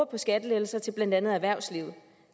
på skattelettelser til blandt andet erhvervslivet